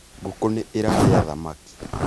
ngũkũ nĩ ĩrarĩa thamaki